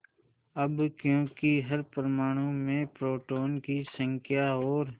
अब क्योंकि हर परमाणु में प्रोटोनों की संख्या और